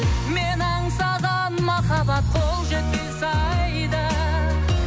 мен аңсаған махаббат қол жетпес айда